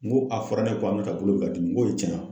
N ko a fɔra ne ye , ko Aminata bolo bɛ ka dimi, n ko ye cɛn ye wa ?